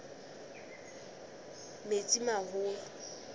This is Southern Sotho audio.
metsimaholo